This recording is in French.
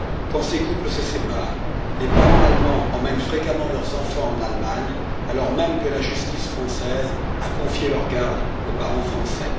Quand ces couples se séparent, les parents allemands emmènent fréquemment leurs enfants en Allemagne, alors même que la justice française a confié leur garde aux parents français.